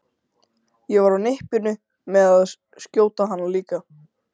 Ég var á nippinu með að skjóta hana líka.